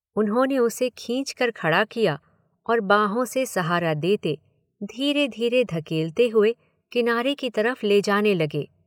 उन्होंने उसे खींच कर खड़ा किया और बांहों से सहारा देते, धीरे धीरे धकेलते हुए, किनारे की तरफ ले जाने लगे।